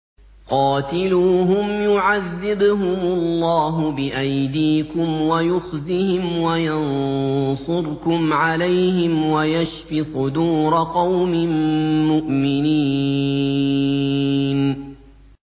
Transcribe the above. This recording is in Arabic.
قَاتِلُوهُمْ يُعَذِّبْهُمُ اللَّهُ بِأَيْدِيكُمْ وَيُخْزِهِمْ وَيَنصُرْكُمْ عَلَيْهِمْ وَيَشْفِ صُدُورَ قَوْمٍ مُّؤْمِنِينَ